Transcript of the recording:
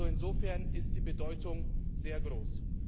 Insofern ist die Bedeutung sehr groß.